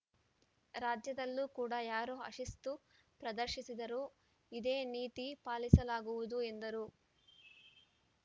ರಾಜ್ಯದಲ್ಲೂ ಕೂಡ ಯಾರೇ ಅಶಿಸ್ತು ಪ್ರದರ್ಶಿಸಿದರೂ ಇದೇ ನೀತಿ ಪಾಲಿಸಲಾಗುವುದು ಎಂದರು